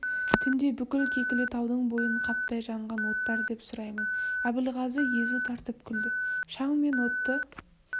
түнде бүкіл кекілітаудың бойын қаптай жанған оттар деп сұраймын әбілғазы езу тартып күлді шаң мен отты